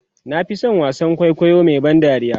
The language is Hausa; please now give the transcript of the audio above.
na Fi San wasaan kwaikwayo Mai ban tausayi